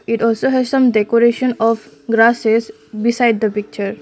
it also has some decoration of grasses beside the picture.